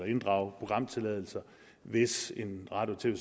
inddrage programtilladelser hvis en radio